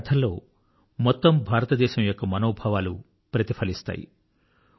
వారి కథల్లో మొత్తం భారతదేశం యొక్క మనోభావాలు ప్రతిఫలిస్తాయి